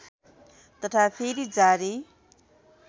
तथा फेरि जारी